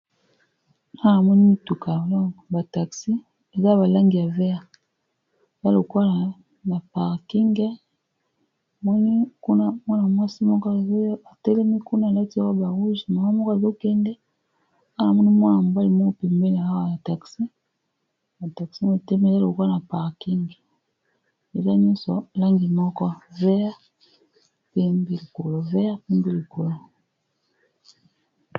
Awa namoni mutuka donc ba taxi eza balangi ya vert ezalokola na parking moni kuna mwana mwasi moko azoya atelemi kuna alati robe ya rouge mama moko azokende awa namoni mwana mobali moko pembe awa ya taxi ba taxi etelemi ezalokola na parking eza nyonso n'a langi moko vert pembe likolo vert pembi likolo